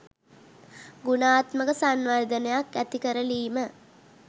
ගුණාත්මක සංවර්ධනයක් ඇතිකරලීම